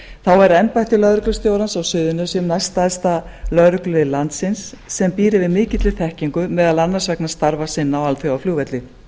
þá er embætti lögreglustjórans á suðurnesjum næststærsta lögreglulið landsins sem býr yfir mikilli þekkingu meðal annars vegna starfa sinna á alþjóðaflugvelli